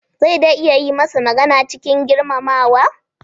Zai dai iya yi masa magana cikin girmamawa.